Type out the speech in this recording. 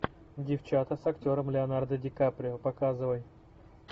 девчата с актером леонардо ди каприо показывай